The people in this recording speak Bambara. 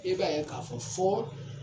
I b'a ye k'a fɔ fɔ